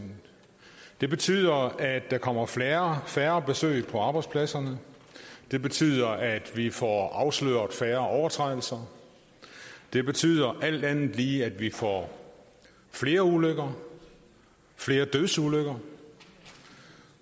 det betyder at der kommer færre færre besøg på arbejdspladserne det betyder at vi får afsløret færre overtrædelser det betyder alt andet lige at vi får flere ulykker flere dødsulykker